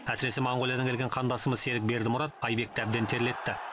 әсіресе моңғолиядан келген қандасымыз серік бердімұрат айбекті әбден терлетті